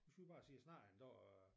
Hvis vi bare siger jeg snakker en dag